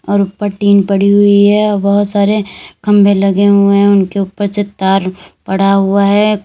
और ऊपर टीन पड़ी हुई है और बहुत सारे खंभे लगे हुए हैं उनके ऊपर से तार पड़ा हुआ है।